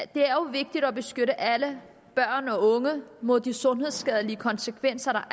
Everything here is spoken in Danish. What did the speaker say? det er jo vigtigt at beskytte alle børn og unge mod de sundhedsskadelige konsekvenser der